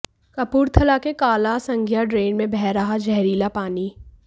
कपूरथला के काला संघिया ड्रेन में बह रहा जहरीला पानी